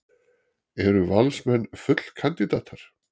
Eru Valsmenn fallkandídatar?